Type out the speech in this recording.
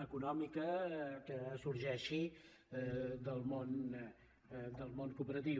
econòmica que sorgeixi del món cooperatiu